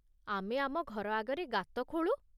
ଆମେ ଆମ ଘର ଆଗରେ ଗାତ ଖୋଳୁ ।